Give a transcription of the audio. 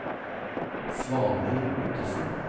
Svanhild Ottesen